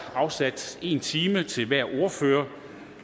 afsat en time til hver ordfører